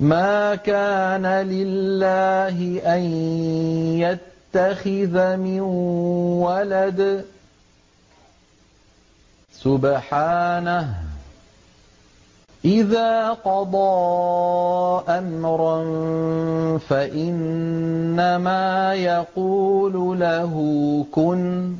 مَا كَانَ لِلَّهِ أَن يَتَّخِذَ مِن وَلَدٍ ۖ سُبْحَانَهُ ۚ إِذَا قَضَىٰ أَمْرًا فَإِنَّمَا يَقُولُ لَهُ كُن